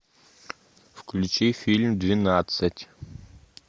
включи фильм двенадцать